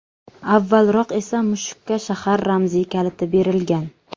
Avvalroq esa mushukka shahar ramziy kaliti berilgan.